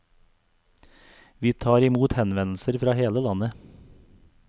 Vi tar imot henvendelser fra hele landet.